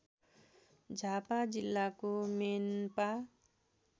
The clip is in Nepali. झापा जिल्लाको मेनपा